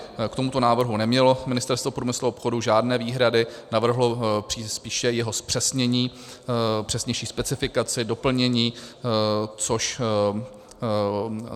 K tomuto návrhu nemělo Ministerstvo průmyslu a obchodu žádné výhrady, navrhlo spíše jeho zpřesnění, přesnější specifikaci, doplnění, což...